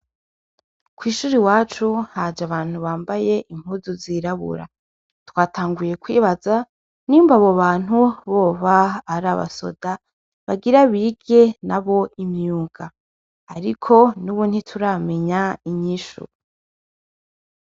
Kwishure iwacu haje abantu bambaye impuzu zirabura twatanguye kwibaza nyimba abo bantu boba arabasoda bagira bige nabo imyuga ariko nubu ntituramenya inyishu